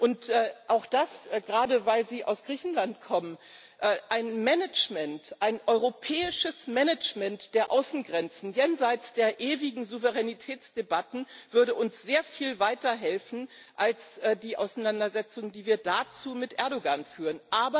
Und gerade weil Sie aus Griechenland kommen auch ein Management, ein europäisches Management der Außengrenzen jenseits der ewigen Souveränitätsdebatten, würde uns sehr viel weiterhelfen als die Auseinandersetzung, die wird dazu mit Erdoğan führen.